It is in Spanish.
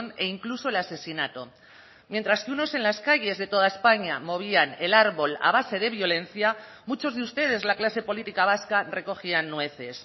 e incluso el asesinato mientras que unos en las calles de toda españa movían el árbol a base de violencia muchos de ustedes la clase política vasca recogían nueces